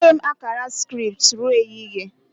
Agaghị m akara scripts ruo ehihie